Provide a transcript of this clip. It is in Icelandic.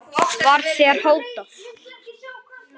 Var þér hótað?